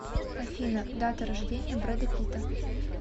афина дата рождения брэда питта